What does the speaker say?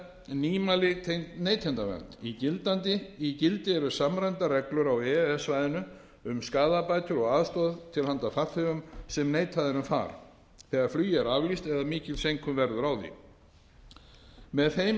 nýmæli tengt neytendavernd í gildi eru samræmdar reglur á e e s svæðinu um skaðabætur og aðstoð til handa farþegum sem neitað er um far þegar flugi er aflýst eða mikil seinkun verður á því með þeim er verið